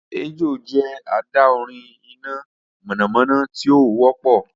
Ejò jẹ adaorin ina mọnamọna ti o wọpọ